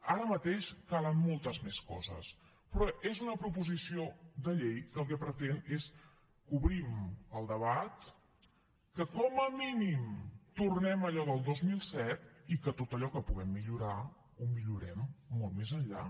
ara mateix calen moltes més coses però és una proposició de llei que el que pretén és que obrim el debat que com a mínim tornem a allò del dos mil set i que tot allò que puguem millorar ho millorem molt més enllà